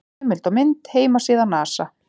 Heimild og mynd: Heimasíða NASA.